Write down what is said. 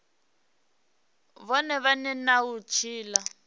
vhone vhane na u tshila